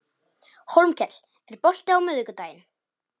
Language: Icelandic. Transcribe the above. Hólmkell, er bolti á miðvikudaginn?